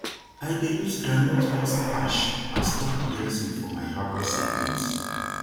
i dey use groundnut husk ash as top dressing for my herbal seedlings